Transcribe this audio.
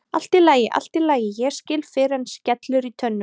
Allt í lagi, allt í lagi, ég skil fyrr en skellur í tönnum.